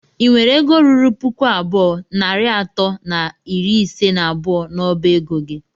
ị nwere egọ rụrụ pụkụ abụọ nari atọ na ịrị ise na abụọ na ọba egọ gị?